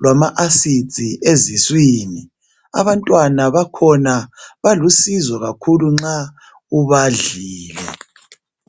lwama acids eziswini. Abantwana bakhona balusizo kakhulu nxa ubadlile.